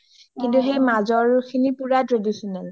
কিন্তু সেই মাজৰ খিনি পুৰা traditional